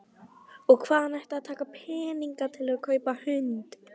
Og hvaðan ætti að taka peninga til að kaupa hund?